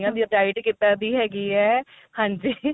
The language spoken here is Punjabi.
diet ਕਿੱਦਾਂ ਦੀ ਹੈਗੀ ਏ ਹਾਂਜੀ